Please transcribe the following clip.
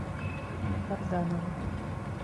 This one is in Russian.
карданова